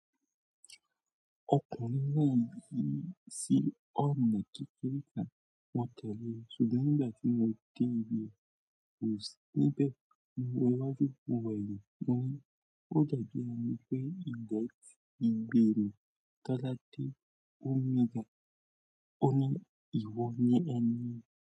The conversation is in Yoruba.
Ókan mi náà ní sí ọ̀nà kekére kan wọ̀n tiẹ̀ lé, ṣùgbọ́n nígbà tí mo dé ibe, ko sì níbẹ̀ mo rántí mó wo eyin mo ni ò da bi ẹni pé ìdẹ́tì ìgbérù táláté o mígan oní ìwọ̀ ni ẹni.